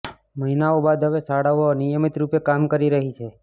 મહિનાઓ બાદ હવે શાળાઓ નિયમિત રૂપે કામ કરી રહી છે